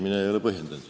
Mina ei ole põhjendanud.